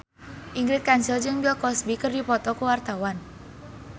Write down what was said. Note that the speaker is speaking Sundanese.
Ingrid Kansil jeung Bill Cosby keur dipoto ku wartawan